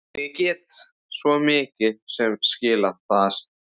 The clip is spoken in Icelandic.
En ég get svo sem skilið það.